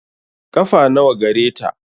Ƙafa nawa gareta?